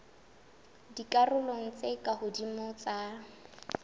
dikarolong tse ka hodimo tsa